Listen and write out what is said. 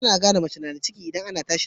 Ana gane mace nada ciki idan tAna tashin zuciya